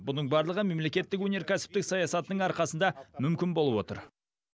бұның барлығы мемлекеттік өнеркәсіптік саясатының арқасында мүмкін болып отыр